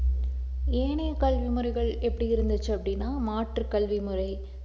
ஏனைய கல்வி முறைகள் எப்படி இருந்துச்சு அப்படின்னா மாற்றுக் கல்வி முறை